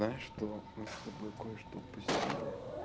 знаешь что мы с тобой кое-что упустили